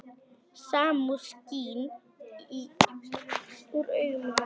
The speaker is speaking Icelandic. Samúð skín úr augum hennar.